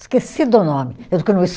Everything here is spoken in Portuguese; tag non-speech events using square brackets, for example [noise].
Esqueci do nome [unintelligible]